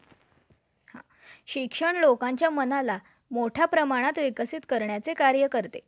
तर registration साठी आर्थिक नोंदणी प्रमाणपत्र मध्ये तो बदल नोंदवण्यासाठी rta जिथे वाहनांची नोंदणी झाली असेल तेथे करवावी लागते तिच्या मूल्यावर